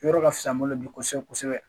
Yɔrɔ ka fisa n bolo bi kosɛbɛ kosɛbɛ